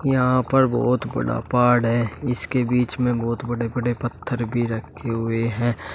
यहां पर बहुत बड़ा पहाड़ है इसके बीच में बहुत बड़े बड़े पत्थर भी रखते हुए हैं।